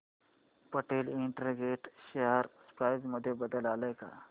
Patel integrate share price मध्ये बदल आलाय का